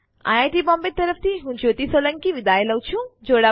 IIT Bombay તરફ થી હું કૃપાલી પરમાર વિદાય લઉં છું